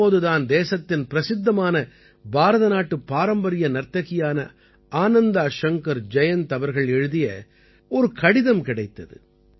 தற்போது தான் தேசத்தின் பிரசித்தமான பாரதநாட்டுப் பாரம்பரிய நர்த்தகியான ஆனந்தா ஷங்கர் ஜயந்த் அவர்கள் எழுதிய ஒரு கடிதம் கிடைத்தது